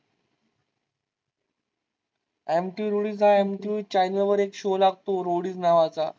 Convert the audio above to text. M tv roadies आहे. M tv channel वरती एक show लागतो roadies नावाचा.